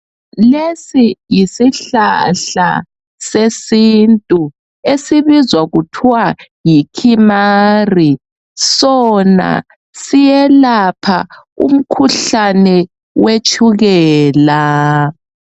Lesi yisihlahla sesintu esibizwa kuthwa yiKimari .Sona siyelapha umkhuhlane wetshukela.